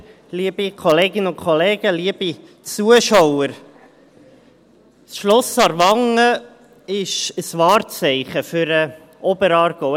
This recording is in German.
Das Schloss Aarwangen ist ein Wahrzeichen für den Oberaargau.